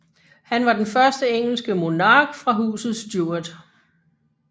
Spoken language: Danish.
Han var den første engelske monark fra Huset Stuart